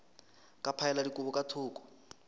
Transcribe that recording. ka phaela dikobo ka thoko